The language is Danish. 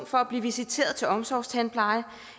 for at blive visiteret til omsorgstandpleje